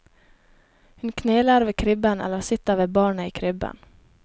Hun kneler ved krybben eller sitter ved barnet i krybben.